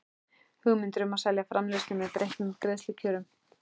hugmyndir um að selja framleiðslu með breyttum greiðslukjörum.